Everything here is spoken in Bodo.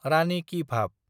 रानि कि भाभ